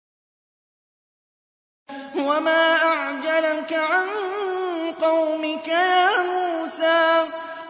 ۞ وَمَا أَعْجَلَكَ عَن قَوْمِكَ يَا مُوسَىٰ